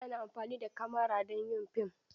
Ana amfani da kamara don yin fim.